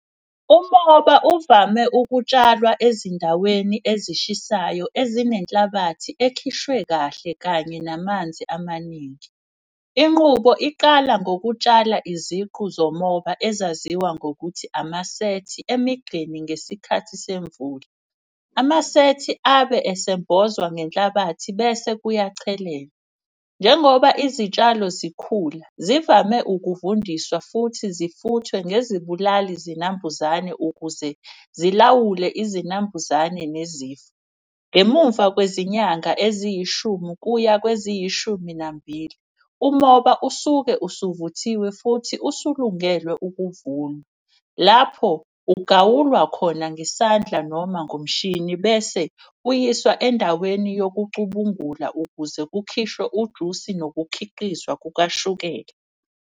Umoba uvame ukutshalwa ezindaweni ezishisayo ezinenhlabathi ekhishwe kahle kanye namanzi amaningi. Inqubo iqala ngokutshala iziqu zomoba ezaziwa ngokuthi amasethi emigqeni ngesikhathi semvula. Amasethi abe esembozwa ngenhlabathi bese kuyachelelwa. Njengoba izitshalo zikhula zivame ukuvundiswa futhi zifuthwe ngezibulali zinambuzane ukuze zilawule izinambuzane nezifo. Ngemumva kwezinyanga eziyishumi kuya kweziyishumi nambili, umoba usuke usuvuthiwe futhi usulungelwe ukuvunwa. Lapho ugawulwa khona ngesandla noma ngomshini bese uyiswa endaweni yokucubungula ukuze kukhishwe ujusi nokukhiqizwa kukashukela.